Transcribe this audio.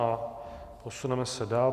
A posuneme se dál.